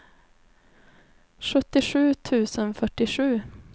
sjuttiosju tusen fyrtiosju